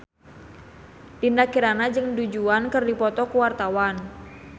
Dinda Kirana jeung Du Juan keur dipoto ku wartawan